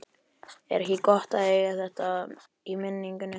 Er ekki gott að eiga þetta í minningunni?